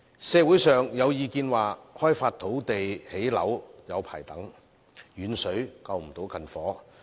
社會上有意見指，開發土地興建樓宇需時長，"遠水救不了近火"。